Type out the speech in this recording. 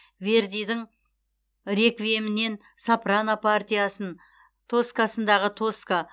вердидің реквиемінен сопрано партиясын тоскасындағы тоска